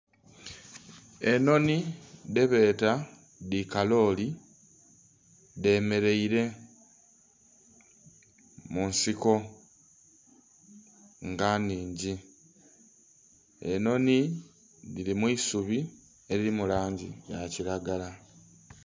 Enhonhi dhebeeta dhi kaloli dhemereire munsiko nga nhingi, enhonhi dhiri mwiisubi eriri mulangi yakilagala